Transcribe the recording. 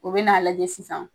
U bɛ n'a lajɛ sisan